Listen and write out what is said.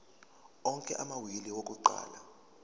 onke amawili akuqala